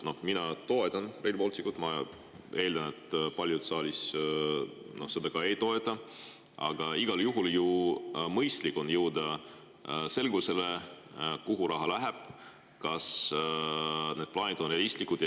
Mina toetan Rail Balticut, ma eeldan, et paljud saalis seda ei toeta, aga igal juhul on ju mõistlik jõuda selgusele, kuhu raha läheb ja kas need plaanid on realistlikud.